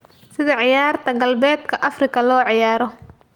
Sida ciyaarta Galbeedka Afrika loo ciyaaro